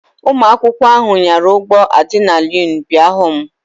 Ụmụ akwụkwọ ahụ nyara ụgbọ adịnalinu pịa ahụ.